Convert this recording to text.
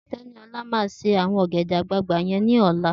Teniola mà sé awọn ọgẹdẹ àgbáàgbá yèn lọ̀là